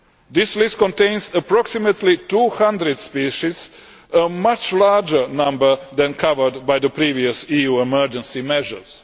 This list contains approximately 200 species a much larger number than that covered by the previous EU emergency measures.